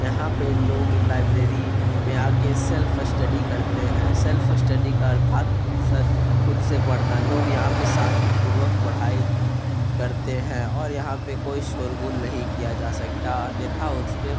यहाँ पे लोग लाइब्रेरी में आ के सेल्फ स्टडी करते हैं सेल्फ स्टडी का अर्थात सा खुद से पढ़ना लोग यहाँ पे शांतिपूर्वक पढाई करते है और यहाँ पे कोई शोर-गुल नहीं किया जा सकता अन्यथा उस पे --